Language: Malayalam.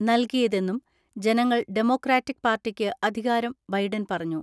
നൽകിയതെന്നും ജനങ്ങൾ ഡെമോക്രാറ്റിക് പാർട്ടിക്ക് അധികാരം ബൈഡൻ പറഞ്ഞു.